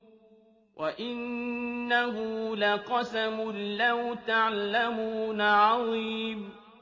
وَإِنَّهُ لَقَسَمٌ لَّوْ تَعْلَمُونَ عَظِيمٌ